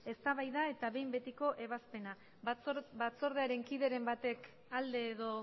eztabaida eta behin betiko ebazpena batzordearen kideren batek alde edo